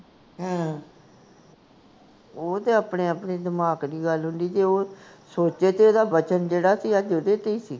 ਉਹ ਤੇ ਆਪਣੇ ਆਪਣੇ ਦਿਮਾਗ ਦੀ ਗੱਲ ਹੁੰਦੀ, ਜੇ ਉਹ ਸੋਚੇ ਤੇ ਇਹਦਾ ਵਚਨ ਸੀ ਜਿਹੜਾ ਅੱਜ ਓਹਦੇ ਤੇ ਹੀ ਸੀ